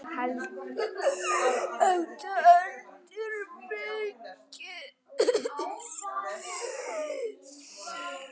Átta heldur mikið.